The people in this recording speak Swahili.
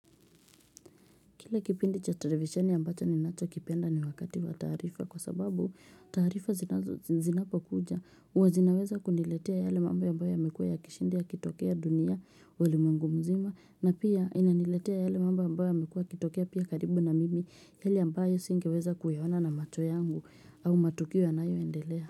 Kile kipindi cha televisheni ambacho ninacho kipenda ni wakati wa taarifa kwa sababu taarifa zinapo kuja. Huwa zinaweza kuniletia yale mambo ambayo yamekua yakishinda yakitokea dunia ulimwengu mzima. Na pia inaniletia yale mambo ambyao yamekua yakitokea pia karibu na mimi yale ambayo singeweza kuyaona na macho yangu au matukio yanayoendelea.